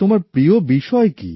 তোমার প্রিয় বিষয় কি